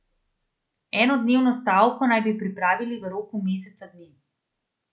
Enodnevno stavko naj bi pripravili v roku meseca dni.